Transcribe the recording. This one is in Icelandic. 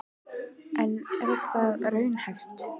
En er það raunhæft?